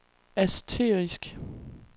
asterisk